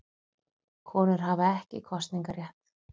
Konur hafa ekki kosningarétt.